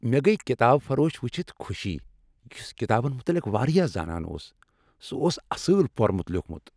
مےٚ گٔیۍ کتاب فروش ؤچھتھ خوشی یُس ڪتابن متعلق واریاہ زانان اوس۔ سُہ اوس اصل پوٚرمت لیکھمُت۔